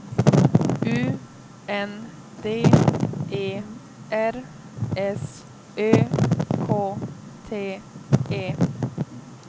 U N D E R S Ö K T E